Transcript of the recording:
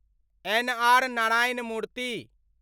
N. R. Narayana मूर्ति